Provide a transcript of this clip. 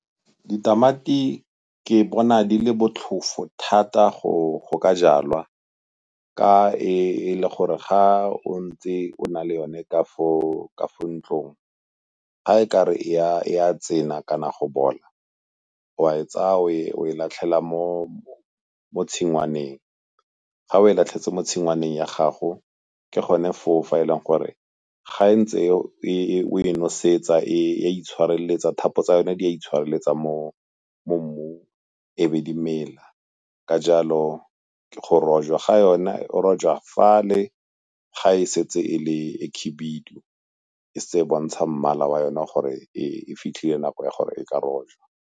Ditamati ke bona di le botlhofo thata go go ka jalwa, ka e le gore ga o ntse o na le yone ka fo ntlong, ga e ka re e a kana go bola o a e tsaya o e latlhela mo tshingwaneng. Ga o e latlhetse mo tshingwaneng ya gago ke gone fa o fa e leng gore ga ntse o e nosetsa e a itshwareletsa, thapo tsa yone di a itshireletsa mo mmung e be di mela. Ka jalo go rojwa ga yona o rojwa fale ga e setse e le e khibidu, e setse e bontsha mmala wa yona gore e fitlhile nako ya gore e ka rojwa.